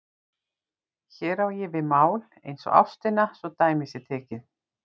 Hér á ég við mál eins og ástina svo dæmi sé tekið.